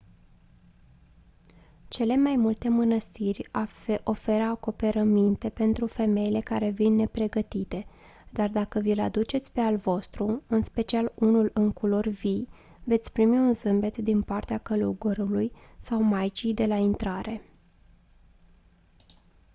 cele mai multe mânăstiri oferă acoperăminte pentru femeile care vin nepregătite dar dacă vi-l aduceți pe al vostru în special unul în culori vii veți primi un zâmbet din partea călugărului sau maicii de la intrare